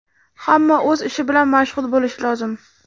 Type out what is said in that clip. Hamma o‘z ishi bilan mashg‘ul bo‘lishi lozim.